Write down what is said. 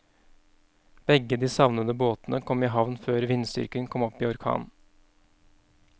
Begge de savnede båtene kom i havn før vindstyrken kom opp i orkan.